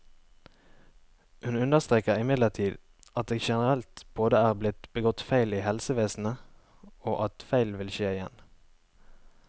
Hun understreker imidlertid at det generelt både er blitt begått feil i helsevesenet, og at feil vil skje igjen.